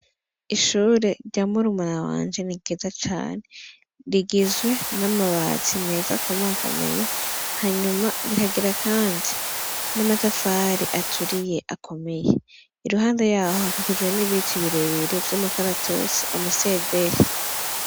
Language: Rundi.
Ishure rya murumuna wanje niryiza cane, rigizwe n' amabati meza akomakomeye, hanyuma rikagira kandi n'amatafari aturiye akomeye iruhande yaho, hakikijwe n' ibiti birebire vyumukaratusi amasederi.